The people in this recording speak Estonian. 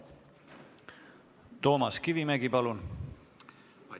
Toomas Kivimägi, palun!